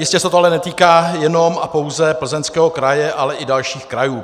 Jistě se to ale netýká jenom a pouze Plzeňského kraje, ale i dalších krajů.